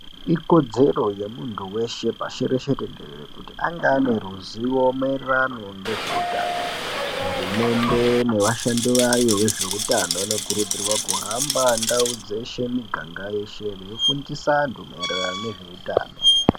Ikodzero yemuntu weshe pashi reshe tenderere kuti ange aneruzivo maererano ngezveutano .Hurumende nevashandi vayo vezveutano vanokurudzirwa kuhamba ndau dzeshe ,miganga yeshe veifundisa antu maererano ngezveutano.